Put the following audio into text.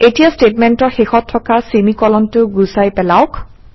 এতিয়া ষ্টেটমেণ্টৰ শেষত থকা চেমি কোলনটো গুচাই পেলাওক